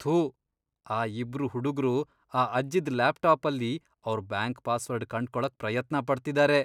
ಥು.. ಆ ಇಬ್ರು ಹುಡುಗ್ರು ಆ ಅಜ್ಜಿದ್ ಲ್ಯಾಪ್ಟಾಪಲ್ಲಿ ಅವ್ರ್ ಬ್ಯಾಂಕ್ ಪಾಸ್ವರ್ಡ್ ಕಂಡ್ಕೊಳಕ್ ಪ್ರಯತ್ನ ಪಡ್ತಿದಾರೆ.